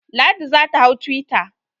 Ladi za ta hau twitter.